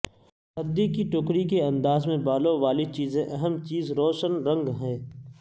ردی کی ٹوکری کے انداز میں بالوں والی چیزیں اہم چیز روشن رنگ ہے